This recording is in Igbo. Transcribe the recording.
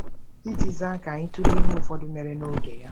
Iji zaa, ka anyị tụlee ihe ụfọdụ mere n'oge ya.